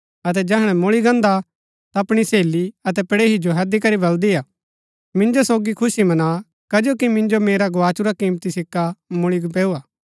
अतै जैहणै मुळी गान्दा ता अपणी सहेली अतै पड़ेहणी जो हैदी करी बलदी हा मिन्जो सोगी खुशी मना कजो कि मिन्जो मेरा गोआचुरा किमती सिक्का मुळी पैऊ हा